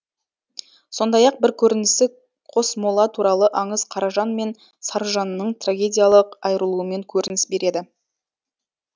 сондай ақ бір көрінісі қосмола туралы аңыз қаражан мен сарыжанның трагедиялық айырылуымен көрініс береді